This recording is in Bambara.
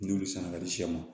N'olu san ka di sɛ ma